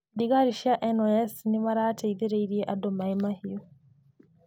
Thigari cia NYS nĩmarateithirie andũ Maaĩ Mahiũ